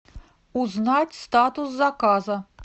узнать статус заказа